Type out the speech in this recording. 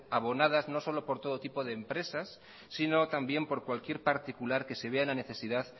abonadas no solo por todo tipo de empresas sino también por cualquier particular que se vea en la necesidad